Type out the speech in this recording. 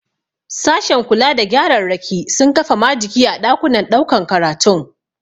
Sashen kula da gyararraki sun kafa majigi a ɗakunan ɗaukan karatun.